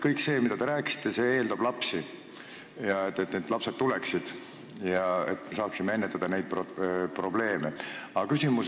Kõik see, mida te rääkisite, eeldab lapsi, seda et lapsed tuleksid ja me saaksime neid probleeme ennetada.